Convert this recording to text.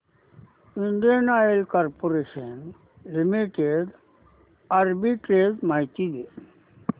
Indian Oil Corporation Limited arbitrage माहिती दे